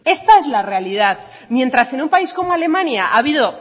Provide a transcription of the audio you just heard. esta es la realidad mientras en un país como alemania ha habido